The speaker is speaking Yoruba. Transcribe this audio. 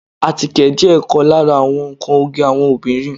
Àtíkè jẹ́ ọ̀kan lára àwọn nnkan oge àwọn obìnrin